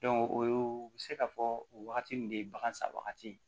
o ye u bɛ se ka fɔ o wagati nin de ye bagan san wagati ye